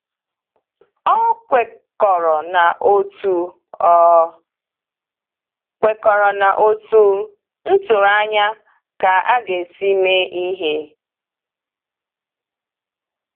O kwekọrọ n’otú O kwekọrọ n’otú m tụrụ anya ka a ga-esi mee ihe.